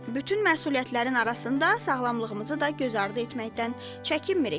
Bütün məsuliyyətlərin arasında sağlamlığımızı da güzərd etməkdən çəkinmirik.